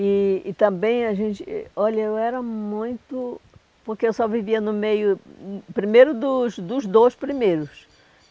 E e também a gente eh... Olha, eu era muito... Porque eu só vivia no meio hum... Primeiro dos dos dois primeiros.